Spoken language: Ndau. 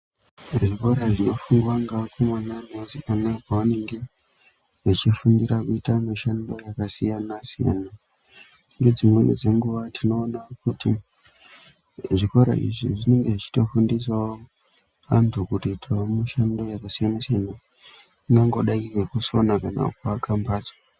Zvikora zvinofundwa ngeakomana neasikana pavanenge vechifundira kuita mishando yakasiyana-siyana. Ngedzimweni dzenguva tinoona kuti zvikora izvi zvinenge zvichitofundisawo antu kutoitawo mishando yakasiyana-siyana. Ingangodai iri yekusona kana yekuaka mbatso.